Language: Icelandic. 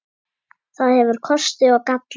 Það hefur kosti og galla.